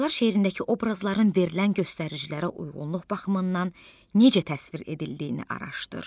Qocalar şeirindəki obrazların verilən göstəricilərə uyğunluq baxımından necə təsvir edildiyini araşdır.